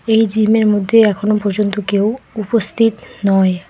এই জিম -এর মধ্যে এখনো পর্যন্ত কেউ উপস্থিত নয়।